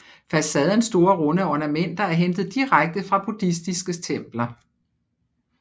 Façadens store runde ornamenter er hentet direkte fra buddhistiske templer